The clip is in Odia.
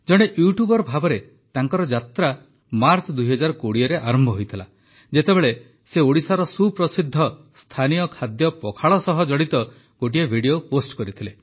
ଜଣେ ୟୁଟ୍ୟୁବର୍ ଭାବେ ତାଙ୍କର ଯାତ୍ରା ମାର୍ଚ୍ଚ ୨୦୨୦ରେ ଆରମ୍ଭ ହୋଇଥିଲା ଯେତେବେଳେ ସେ ଓଡ଼ିଶାର ସୁପ୍ରସିଦ୍ଧ ସ୍ଥାନୀୟ ଖାଦ୍ୟ ପଖାଳ ସହ ଜଡ଼ିତ ଗୋଟିଏ ଭିଡିଓ ପୋଷ୍ଟ କରିଥିଲେ